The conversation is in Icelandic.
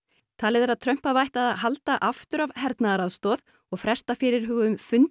talið er að Trump hafi ætlað að halda aftur af hernaðaraðstoð og fresta fyrirhuguðum fundi